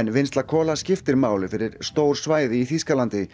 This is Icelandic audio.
en vinnsla kola skiptir máli fyrir stór svæði í Þýskalandi